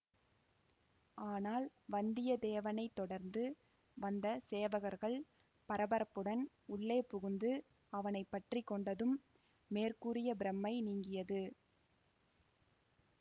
ஆனால் வந்தியத்தேவனை தொடர்ந்து வந்த சேவகர்கள் பரபரப்புடன் உள்ளே புகுந்து அவனை பற்றி கொண்டதும் மேற்கூறிய பிரம்மை நீங்கியது